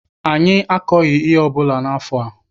Anyị akọghị ihe ọbụla n'afọ a.